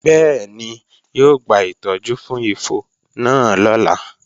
Bẹ́ẹ̀ni, yóò gba ìtọ́jú fún ifo náà lọ́la